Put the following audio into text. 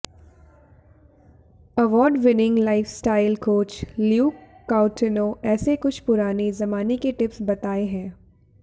award winning lifestyle coach Luke Coutinho ऐसे कुछ पुराने जमाने के टिप्स बताए है